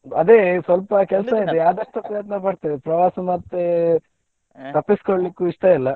ಅದೇ ಸ್ವಲ್ಪ ಕೆಲ್ಸ ಇದೆ ಆದಷ್ಟು ಪ್ರಯತ್ನ ಪಡ್ತೇನೆ ಪ್ರವಾಸ ಮತ್ತೆ. ತಪ್ಪಿಸಿಕೊಳ್ಳಿಕ್ಕೂ ಇಷ್ಟ ಇಲ್ಲ.